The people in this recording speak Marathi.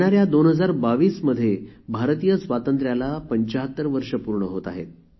या २०२२ भारतीय स्वातंत्र्याला ७५ वर्षं पूर्ण होत आहेत